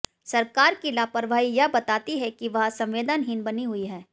सरकार की लापरवाही यह बताती है कि वह संवेदनहीन बनी हुई है